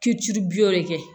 Kiri bulon de kɛ